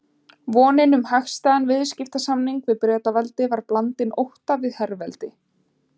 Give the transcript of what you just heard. Vonin um hagstæðan viðskiptasamning við Bretaveldi var blandin ótta við herveldi